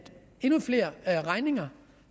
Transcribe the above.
endnu flere regninger